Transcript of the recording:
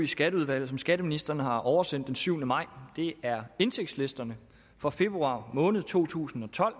skatteudvalget som skatteministeren har oversendt den syvende maj det er indtægtslisterne for februar måned to tusind og tolv